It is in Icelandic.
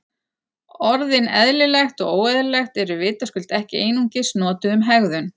Orðin eðlilegt og óeðlilegt eru vitaskuld ekki einungis notuð um hegðun.